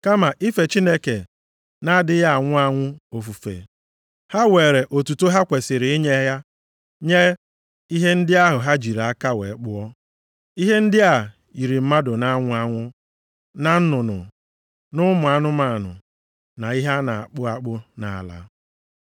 Kama ife Chineke na-adịghị anwụ anwụ ofufe, ha weere otuto ha kwesiri inye ya nye ihe ndị ahụ ha jiri aka ha kpụọ. Ihe ndị a yiri mmadụ na-anwụ anwụ, na nnụnụ, na ụmụ anụmanụ, na ihe na-akpụ akpụ nʼala.